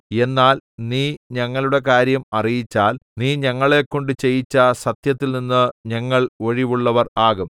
എന്നാൽ നീ ഞങ്ങളുടെ കാര്യം അറിയിച്ചാൽ നീ ഞങ്ങളെക്കൊണ്ട് ചെയ്യിച്ച സത്യത്തിൽനിന്ന് ഞങ്ങൾ ഒഴിവുള്ളവർ ആകും